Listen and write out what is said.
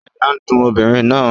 Àyà n dùn obìnrin náà